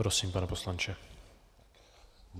Prosím, pane poslanče.